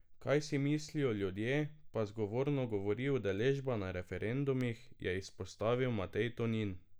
Kaj si mislijo ljudje, pa zgovorno govori udeležba na referendumih, je izpostavil Matej Tonin.